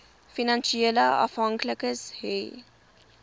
finansiële afhanklikes hê